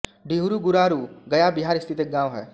डिहुरी गुरारू गया बिहार स्थित एक गाँव है